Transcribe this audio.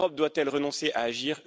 L'Europe doit elle renoncer à agir?